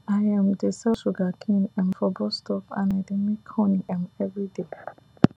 i um dey sell sugarcane um for bus stop and i dey make money um everyday